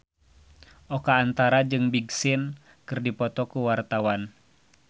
Oka Antara jeung Big Sean keur dipoto ku wartawan